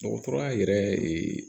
Dɔgɔtɔrɔya yɛrɛ